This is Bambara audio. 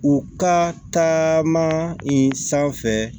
U ka taama in sanfɛ